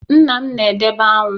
Nna m na-edebe aṅụ